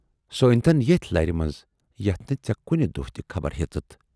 سۅ أنۍتَن ییتھۍ لَرِ منز یتھ نہٕ ژے کُنہِ دۅہ تہِ خبر ہیژٕتھ۔